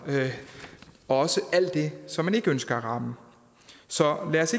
også alt det som man ikke ønsker at ramme så lad os